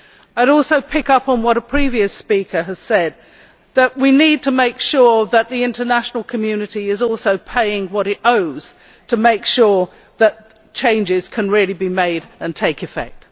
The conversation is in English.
I would also pick up on what a previous speaker has said that we need to make sure that the international community is paying what it owes to make sure that changes can really be made and take effect.